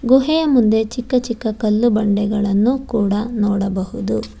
ಗುಹೆಯ ಮುಂದೆ ಚಿಕ್ಕ ಚಿಕ್ಕ ಕಲ್ಲು ಬಂಡೆಗಳನ್ನು ಕೂಡ ನೋಡಬಹುದು.